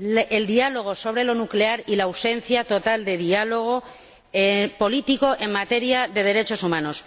el diálogo sobre lo nuclear y la ausencia total de diálogo político en materia de derechos humanos.